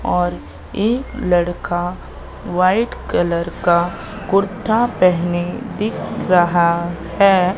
और एक लड़का व्हाइट कलर का कुर्ता पहने दिख रहा है।